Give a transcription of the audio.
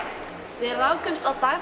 við rákumst á Dag